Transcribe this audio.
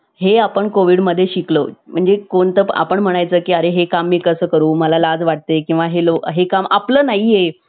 मानकुजी शिंदे यांची कन्या. आणि मराठ्याचे राज्य, उत्तरेकडील माववा प्रांतात राहणाऱ्या शूरवीर मल्हारराव होळकरांची सून. पती वारल्यावर त्या सती गेल्या नाहीत. कारण,